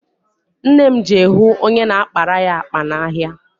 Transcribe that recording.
Nne m je hụ onye na-akpara ya akpa n'ahịa.